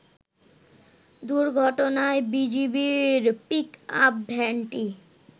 দুর্ঘটনায় বিজিবির পিক-আপ ভ্যানটি